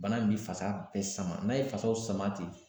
Bana in bi fasa bɛɛ sama n'a ye fasaw sama ten